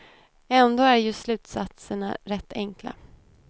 Ändå är ju slutsatserna rätt enkla.